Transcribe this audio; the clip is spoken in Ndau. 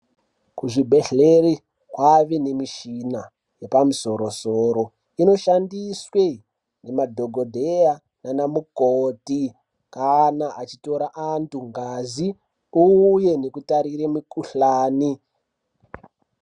Kuzvibhedhleri kwave nemishina yepamusoro soro inoshandiswe ngemadhokodheya nanamukoti kana achitora antu ngazi uye nekutarire mikhuhlani.